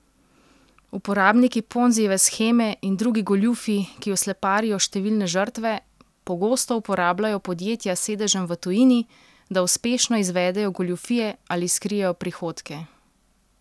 Uporabniki Ponzijeve sheme in drugi goljufi, ki osleparijo številne žrtve, pogosto uporabljajo podjetja s sedežem v tujini, da uspešno izvedejo goljufije ali skrijejo prihodke.